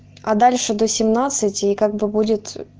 а дальше до семнадцати и как бы будет